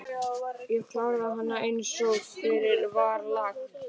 Ég kláraði hana einsog fyrir var lagt.